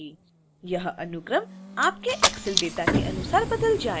यह अनुक्रम आपके excel data के अनुसार बदल जाएगा